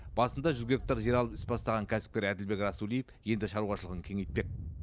басында жүз гектар жер алып іс бастаған кәсіпкер әділбек расулиев енді шаруашылығын кеңейтпек